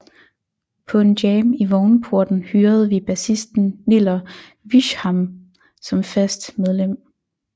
På en jam i Vognporten hyrede vi bassisten Niller Wischamnn som fast medlem